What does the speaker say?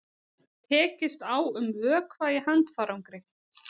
Tekist á um vökva í handfarangri